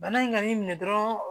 Bana in ka n'i minɛ dɔrɔn